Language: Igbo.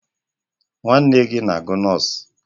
Nwanne gị na-agụ nọs?